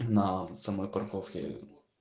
на самой парковке